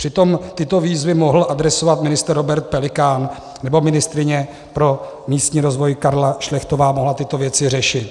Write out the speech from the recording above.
Přitom tyto výzvy mohl adresovat ministr Robert Pelikán, nebo ministryně pro místní rozvoj Karla Šlechtová mohla tyto věci řešit.